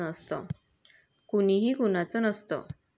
कुणीही कुणाचं नसतं!